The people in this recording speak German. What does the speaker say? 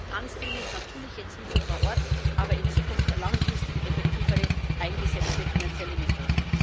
Wir brauchen ganz dringend natürlich jetzt Hilfe vor Ort, aber in Zukunft langfristig effektiver eingesetzte finanzielle Mittel.